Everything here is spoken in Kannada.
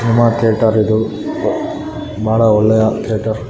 ಸಿನೇಮಾ ಥಿಯೇಟರ್‌ ಇದು ಬ ಬಹಳ ಒಳ್ಳೆಯ ಥಿಯೇಟರ್ .